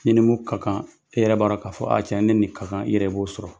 I ni mu ka kan, e yɛrɛ b'a dɔn k'a fɔ a tiɲɛ, ne nin ka kan. I yɛrɛ b'o sɔrɔ.